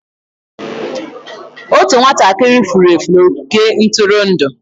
Otu nwatakịrị furu efu n'ogige ntụrụndụ.